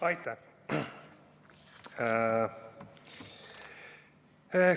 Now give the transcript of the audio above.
Aitäh!